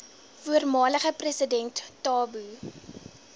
voormalige president thabo